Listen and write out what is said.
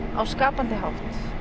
á skapandi hátt